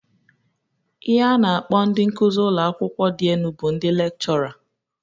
Ihe a na- akpọ ndị nkụzị ụlọakawụkwọ dị enu bụ ndị lekchọra.